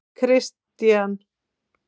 Kristian